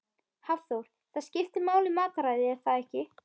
Hafþór: Það skiptir máli matarræðið er það ekki?